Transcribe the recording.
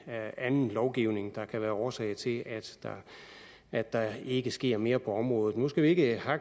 anden lovgivning der kan være årsag til at der ikke sker mere på området nu skal vi ikke